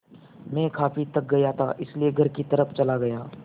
मैं काफ़ी थक गया था इसलिए घर की तरफ़ चला गया